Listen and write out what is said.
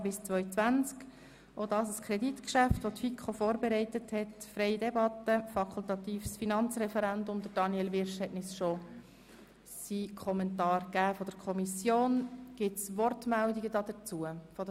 Das Geschäft unterliegt dem fakultativen Finanzreferendum, und Daniel Wyrsch hat sich auch dazu bereits geäussert.